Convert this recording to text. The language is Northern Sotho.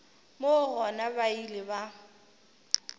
moo gona ba ile ba